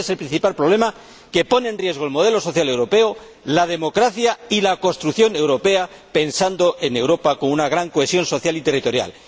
Éste es el principal problema, que pone en riesgo el modelo social europeo, la democracia y la construcción europea, pensando en Europa con una gran cohesión social y territorial.